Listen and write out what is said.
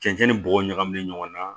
Cɛncɛn ni bɔgɔ ɲagaminen ɲɔgɔn na